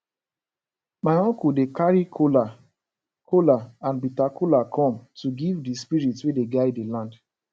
my uncle dey carry kola kola and bitter kola come to give the spirits wey dey guide the land